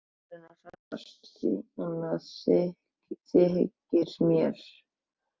Þú ert farinn að hressast, þykir mér!